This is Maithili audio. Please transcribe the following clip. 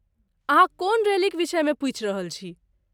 अहाँ कोन रैलीक विषयमे पूछि रहल छी?